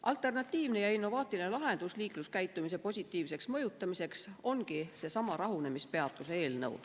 Alternatiivne ja innovaatiline lahendus liikluskäitumise positiivseks mõjutamiseks ongi seesama rahunemispeatuse eelnõu.